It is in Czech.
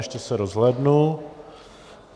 Ještě se rozhlédnu.